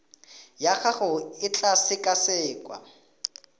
ya gago e tla sekasekwa